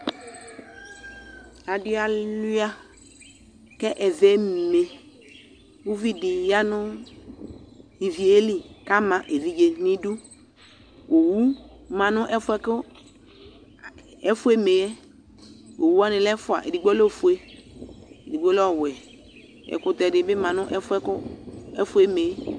Adɩ alʋɩa kʋ ɛvɛ eme Uvi dɩ ya nʋ ivi yɛ li kʋ ama evidze nʋ idu Owu ma nʋ ɛfʋ yɛ kʋ ɛfʋ yɛ eme yɛ Owu wanɩ lɛ ɛfʋa Edigbo lɛ ofue, edigbo lɛ ɔwɛ Ɛkʋtɛ dɩ bɩ ma nʋ ɛfʋ yɛ kʋ ɛfʋ yɛ eme yɛ